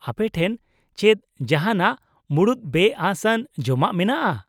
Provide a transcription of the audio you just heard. ᱟᱯᱮᱴᱷᱮᱱ ᱪᱮᱫ ᱡᱟᱦᱟᱸᱱᱟᱜ ᱢᱩᱬᱩᱫ ᱵᱮᱼᱟᱹᱥ ᱟᱱ ᱡᱚᱢᱟᱜ ᱢᱮᱱᱟᱜᱼᱟ ?